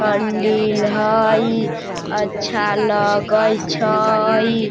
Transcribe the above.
हंडील हई अच्छा लगै छै।